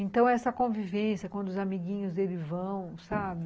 Então, essa convivência, quando os amiguinhos deles vão, sabe?